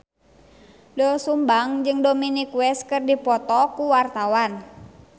Doel Sumbang jeung Dominic West keur dipoto ku wartawan